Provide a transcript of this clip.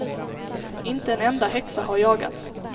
Inte en enda häxa har jagats.